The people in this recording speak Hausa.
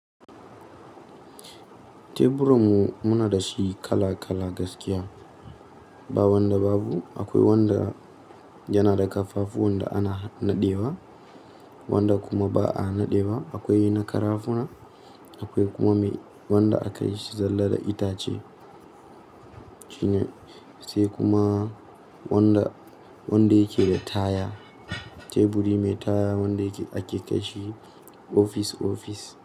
Teburan mu muna da shi kala kala gaskiya. Ba wanda babu. Akwai wanda yana da ƙafafu wanda ana naɗewa, wanda kuma ba a naɗewa. Akwai na karafunan, akwai kuma wanda aka yi zalla da itace. Shine sai kuma wanda, wanda yake da taya. Teburi mai taya wanda ake kai shi ofis ofis.